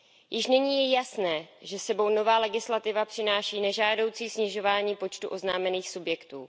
Již nyní je jasné, že s sebou nová legislativa přináší nežádoucí snižování počtu oznámených subjektů.